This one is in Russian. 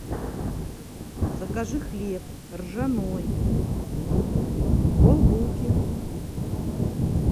закажи хлеб ржаной полбулки